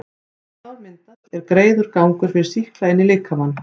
þegar sár myndast, er greiður gangur fyrir sýkla inn í líkamann.